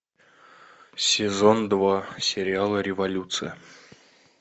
сезон два сериала революция